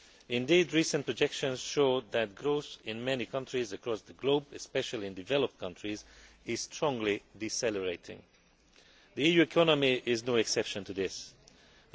Indeed, recent projections showed that growth in many countries across the globe especially in developed countries is strongly decelerating. The EU economy is no exception to this trend.